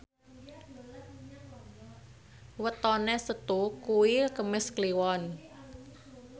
wetone Setu kuwi Kemis Kliwon